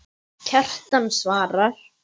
Kjartan svarar